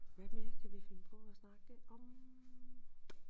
Hvad mere kan vi finde på at snakke om